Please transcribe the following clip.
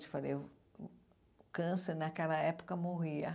Eu falei, o câncer naquela época morria.